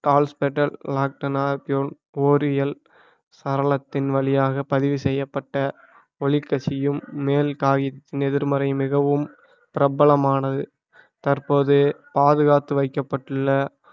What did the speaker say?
கால்ஸ்பிடல் ஓரியல் சரலத்தின் வழியாக பதிவு செய்யப்பட்ட ஒளி கசியும் மேல் எதிர்மறை மிகவும் பிரபலமானது தற்போது பாதுகாத்து வைக்கப்பட்டுள்ள